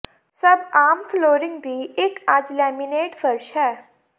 ਸਭ ਆਮ ਫਲੋਰਿੰਗ ਦੀ ਇੱਕ ਅੱਜ ਲੈਮੀਨੇਟ ਫ਼ਰਸ਼ ਹੈ